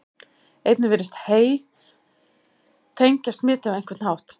einnig virðist hey tengjast smiti á einhvern hátt